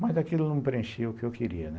Mas daquilo eu não preenchi o que eu queria.